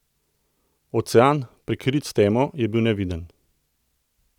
Ocean, prekrit s temo, je bil neviden.